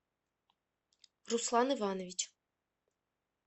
руслан иванович